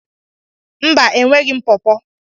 Mba, e nweghị m pọọpo.